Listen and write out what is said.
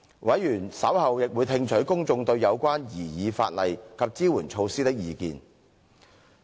委員稍後亦會聽取公眾對有關擬議法例及支援措施的意見。